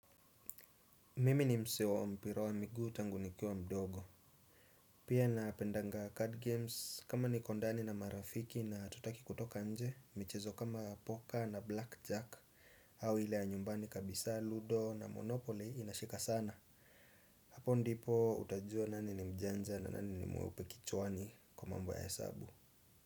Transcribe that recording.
Mimi ni msee wa mpira wa miguu tangu nikiwa mdogo. Pia napendanga card games kama niko ndani na marafiki na hatutaki kutoka nje michezo kama poker na blackjack au hile ya nyumbani kabisa ludo na monopoly inashika sana. Hapo ndipo utajua nani ni mjanja na nani ni mweupe kichwani kwa mambo ya hesabu.